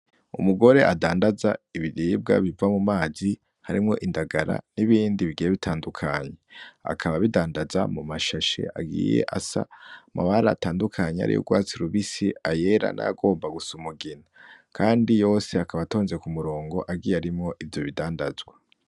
Umugore adandaza ibiribwa biva mu mazi, harimwo indagara, n'ibindi bigiye bitandukanye, akaba abidandaza mu mashashe agiye asa amabara atandukanye, hariho ay'ugwatsi rubisi, ayera, n'ayagomba gusa umugina, kandi yose akaba atonze ku murongo agiye arimwo ivyo bidandazwa.